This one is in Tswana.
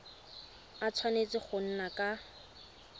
a tshwanetse go nna ka